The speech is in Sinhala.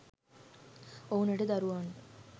ඔවුනට දරුවන්ව